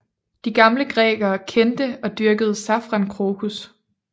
De gamle grækere kendte og dyrkede safrankrokus